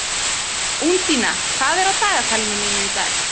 Úndína, hvað er á dagatalinu mínu í dag?